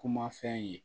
Kuma fɛn ye